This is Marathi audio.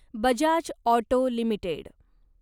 Bajaj Auto limited